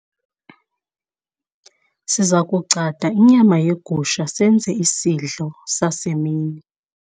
siza kugcada inyama yegusha senzele isidlo sasemini